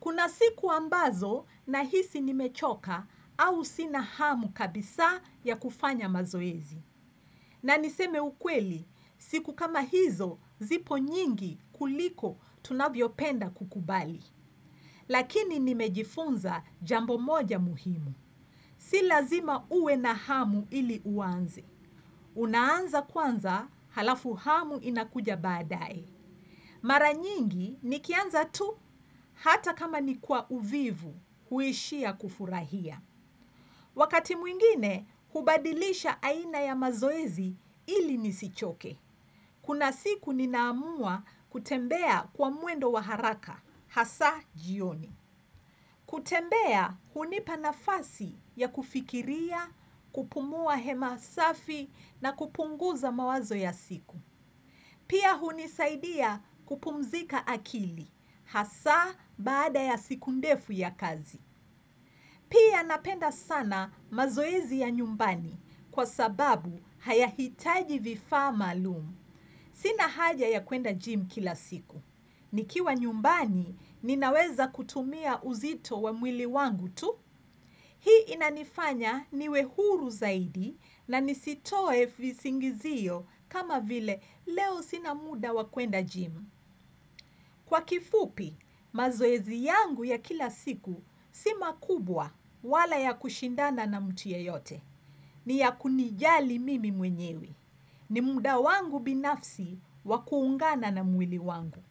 Kuna siku ambazo na hisi nimechoka au sina hamu kabisa ya kufanya mazoezi. Na niseme ukweli, siku kama hizo zipo nyingi kuliko tunavyo penda kukubali. Lakini nimejifunza jambo moja muhimu. Si lazima uwe na hamu ili uanze. Unaanza kwanza, halafu hamu inakuja baadae. Mara nyingi, nikianza tu, hata kama nikwa uvivu, huishia kufurahia. Wakati mwingine, hubadilisha aina ya mazoezi ili nisichoke. Kuna siku ninaamua kutembea kwa mwendo wa haraka, hasa jioni. Kutembea hunipa nafasi ya kufikiria, kupumua hewa safi na kupunguza mawazo ya siku. Pia hunisaidia kupumzika akili, hasa baada ya siku ndefu ya kazi. Pia napenda sana mazoezi ya nyumbani kwa sababu haya hitaji vifaa maalumu. Sina haja ya kwenda gym kila siku. Nikiwa nyumbani ninaweza kutumia uzito wa mwili wangu tu. Hii inanifanya niwe huru zaidi na nisitoe visingizio kama vile leo sina muda wa kuenda gym. Kwa kifupi mazoezi yangu ya kila siku si ma kubwa wala ya kushindana na mtu yeyote. Ni ya kunijali mimi mwenyewe. Ni muda wangu binafsi waku ungana na mwili wangu.